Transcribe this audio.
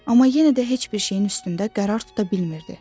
Amma yenə də heç bir şeyin üstündə qərar tuta bilmirdi.